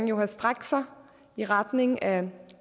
jo have strakt sig i retning af